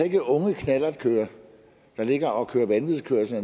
ikke unge knallertkørere der ligger og kører vanvidskørsel